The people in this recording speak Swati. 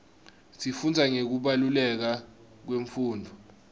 sifundza ngekubaluleka kwemfundvo